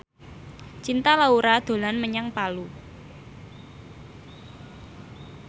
Cinta Laura dolan menyang Palu